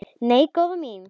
Nei, góða mín.